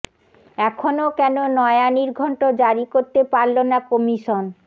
এখন কেন নয়া নির্ঘণ্ট জারি করতে পারল না কমিশন